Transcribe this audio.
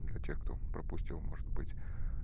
для тех кто пропустил может быть